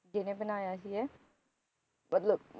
ਜਿਹਨੇ ਬਣਾਇਆ ਸੀ ਇਹ